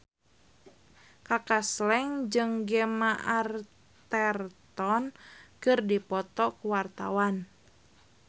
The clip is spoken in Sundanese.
Kaka Slank jeung Gemma Arterton keur dipoto ku wartawan